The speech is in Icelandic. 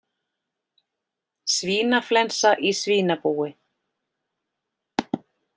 Svínaflensa í svínabúi